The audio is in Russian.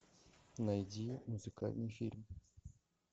найди музыкальный фильм